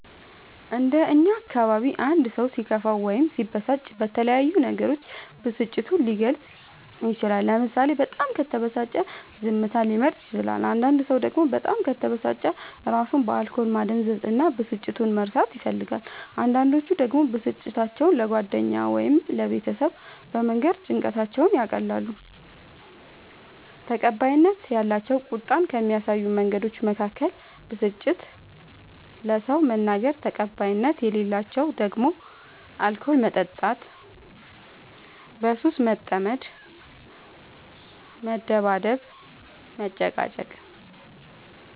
እንደ እኛ አካባቢ አንድ ሰው ሲከፋው ወይም ሲበሳጭ በተለያዩ ነገሮች ብስጭቱን ሊገልፅ ይችላል ለምሳሌ በጣም ከተበሳጨ ዝምታን ሊመርጥ ይችላል አንዳንድ ሰው ደግሞ በጣም ከተበሳጨ እራሱን በአልኮል ማደንዘዝ እና ብስጭቱን መርሳት ይፈልጋል አንዳንዶች ደግሞ ብስጭታቸው ለጓደኛ ወይም ለቤተሰብ በመንገር ጭንቀታቸውን ያቀላሉ። ተቀባይነት ያላቸው ቁጣን ከሚያሳዩ መንገዶች መካከል ብስጭትን ለሰው መናገር ተቀባይነት የሌላቸው ደግሞ አልኮል መጠጣት በሱስ መጠመድ መደባደብ መጨቃጨቅ